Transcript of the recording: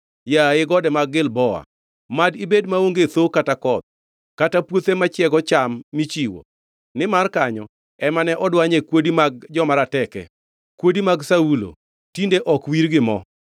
“Yaye gode mag Gilboa, mad ibed maonge thoo kata koth, kata puothe machiego cham michiwo. Nimar kanyo ema ne odwanye kuodi mag joma rateke, kuodi mag Saulo, tinde ok wir gi mo.